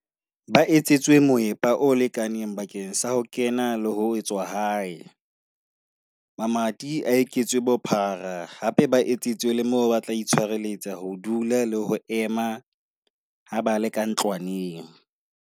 Ba etsetswe moepa o lekaneng bakeng sa ho kena le ho tswa hae. Mamati a eketswe bophara hape ba etsetswe le moo ba tla itshwareletsa ho dula le ho ema ha ba le ka ntlwaneng.